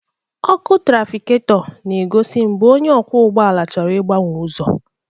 Ọkụ trafiketọ na-egosi mgbe onye ọkwọ ụgbọala chọrọ ịgbanwe ụzọ.